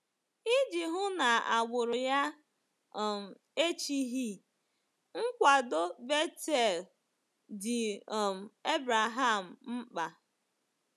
Iji hụ na agbụrụ ya um echighị, nkwado Bethuel dị um Abraham mkpa.